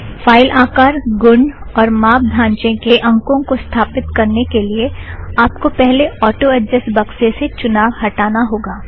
file आकर गुण और माप दांचे के अंखों को स्थापीत करने के लिए आप को पहले ऑटो ऐड़्जस्ट बक्से से चुनाव हटाना होगा